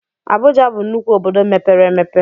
Abụja bụ nnukwu obodo mepere emepe